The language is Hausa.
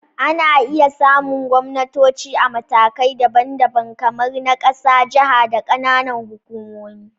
Ana iya samun gwamnatoci a matakai daban-daban, kamar na ƙasa, jaha, da ƙananan hukumomi